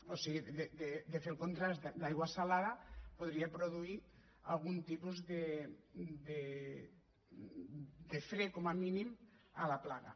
o sigui de fer el contrast d’aigua salada podria produir algun tipus de fre com a mínim a la plaga